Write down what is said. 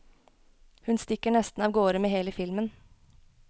Hun stikker nesten av gårde med hele filmen.